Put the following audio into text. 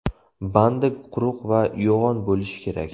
Bandi quruq va yo‘g‘on bo‘lishi kerak.